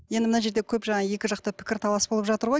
енді мына жерде көп жаңағы екі жақта пікірталас болып жатыр ғой